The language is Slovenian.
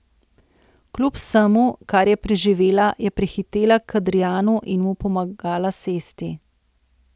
Kljub vsemu, kar je preživela, je prihitela k Adrijanu in mu pomagala sesti.